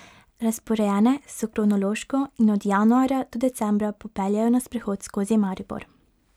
Razporejene so kronološko in od januarja do decembra popeljejo na sprehod skozi Maribor.